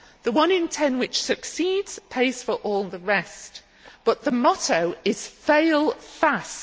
The one in ten which succeeds pays for all the rest, but the motto is fail fast'.